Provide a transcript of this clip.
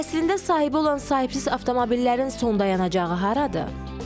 Əslində sahibi olan sahibsiz avtomobillərin son dayanacağı haradır?